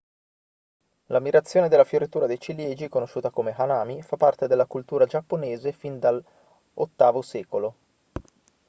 l'ammirazione della fioritura dei ciliegi conosciuta come hanami fa parte della cultura giapponese fin dall'viii secolo